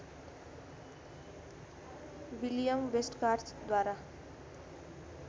William Westgarth द्वारा